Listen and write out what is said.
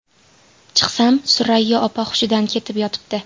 Chiqsam, Surayyo opa hushidan ketib yotibdi.